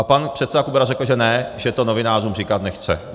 A pan předseda Kubera řekl, že ne, že to novinářům říkat nechce.